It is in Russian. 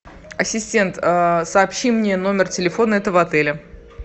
ассистент сообщи мне номер телефона этого отеля